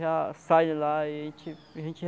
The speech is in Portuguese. Já sai de lá e a gente a gente.